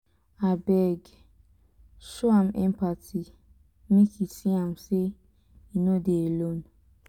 abeg show am empathy make e see am sey e no dey alone.